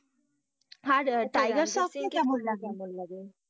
আর Tiger Shroff কে কেমন লাগে?